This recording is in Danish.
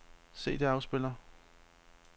CD-afspiller